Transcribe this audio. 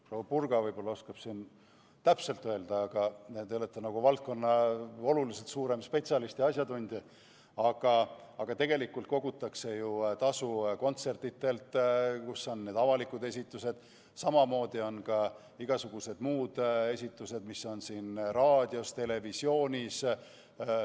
Proua Purga võib-olla oskab siin täpselt öelda, tema on selles valdkonnas suurem spetsialist ja asjatundja, aga tegelikult kogutakse tasu ju kontsertidelt, kus on avalikud esitused, samamoodi on igasugused muud esitused, näiteks raadios ja televisioonis.